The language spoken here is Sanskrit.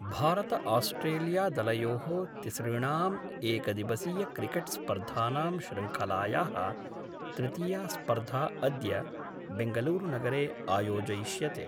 भारतआस्ट्रेलियादलयो: तिसृणाम् एकदिवसीयक्रिकेट्स्पर्धानां शृंखलाया: तृतीया स्पर्धा अद्य बेङ्गलूरुनगरे आयोजयिष्यते।